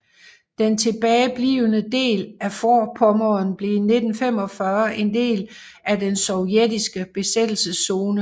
Den tilbage blivende del af Vorpommern blev 1945 en del af den sovjetiske besættelszone